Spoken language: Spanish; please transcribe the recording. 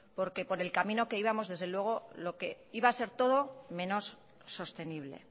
porque por el camino que íbamos desde luego lo que iba a ser todo menos sostenible